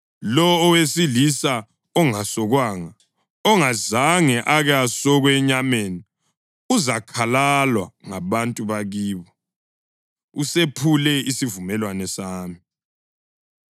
Lowo owesilisa ongasokwanga, ongazange ake asokwe enyameni uzakhalalwa ngabantu bakibo; usephule isivumelwano sami.”